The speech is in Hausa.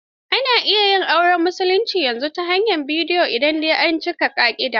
Ana iya yin auren musulmi yanzu ta hanyar bidiyo in dai an cika ƙa'ida.